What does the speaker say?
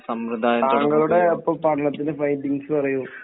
താങ്കളുടെ അപ്പോൾ പഠനത്തിൻറെ ഫൈന്ഡിങ്സ് പറയൂ